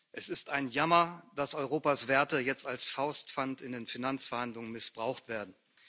Es ist ein Jammer, dass Europas Werte jetzt als Faustpfand in den Finanzverhandlungen missbraucht werden.